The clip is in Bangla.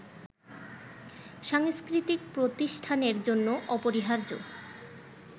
সাংস্কৃতিক প্রতিষ্ঠানের জন্য অপরিহার্য